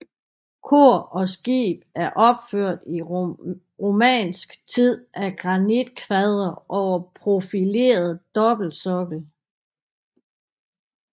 Kor og skib er opført i romansk tid af granitkvadre over profileret dobbeltsokkel